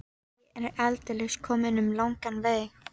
Ég er aldeilis kominn um langan veg.